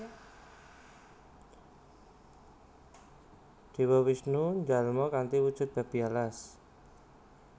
Dewa Wisnu njalma kanthi wujud Babi Alas